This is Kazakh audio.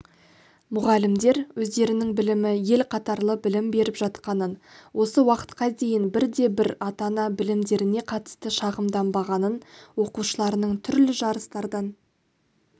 мұғалімдер өздерінің білімі ел қатарлы білім беріп жатқанын осы уақытқа дейін бір де бір ата-ана білімдеріне қатысты шағымданбағанын оқушыларының түрлі жарыстардан